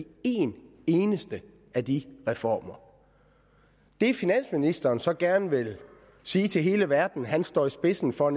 en eneste af de reformer det finansministeren så gerne vil sige til hele verden han står i spidsen for